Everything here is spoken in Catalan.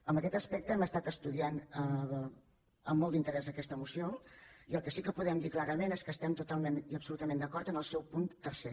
en aquest aspecte hem estat estudiant amb molt d’interès aquesta moció i el que sí que podem dir clarament és que estem totalment i absolutament d’acord en el seu punt tercer